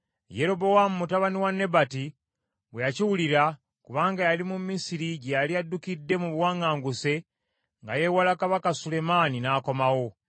Yerobowaamu mutabani wa Nebati bwe yakiwulira, kubanga yali mu Misiri gye yali addukidde mu buwaŋŋanguse, nga yeewala kabaka Sulemaani, n’akomawo.